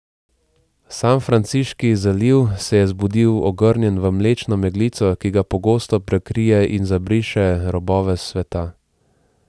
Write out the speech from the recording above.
Sanfranciški zaliv se je zbudil ogrnjen v mlečno meglico, ki ga pogosto prekrije in zabriše robove sveta.